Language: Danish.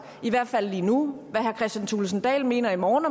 i hvert fald lige nu hvad herre kristian thulesen dahl mener i morgen